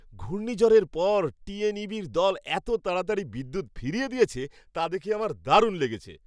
ঘূর্ণিঝড়ের পর টি.এন.ই.বির দল এত তাড়াতাড়ি বিদ্যুৎ ফিরিয়ে দিয়েছে, তা দেখে আমার দারুণ লেগেছে।